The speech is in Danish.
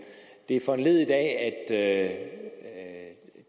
tage